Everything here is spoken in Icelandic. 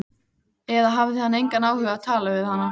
Eða hafði hann engan áhuga á að tala við hana?